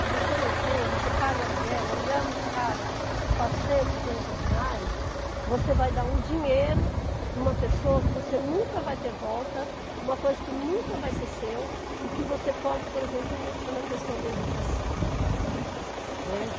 Se você não tem, você paga aluguel, o aluguel é muito caro, quatrocentos, quinhentos reais, você vai dar um dinheiro para uma pessoa que você nunca vai ter volta, uma coisa que nunca vai ser seu e que você pode, por exemplo, investir na questão da educação, né.